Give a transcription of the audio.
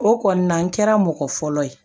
O kɔni na n kɛra mɔgɔ fɔlɔ ye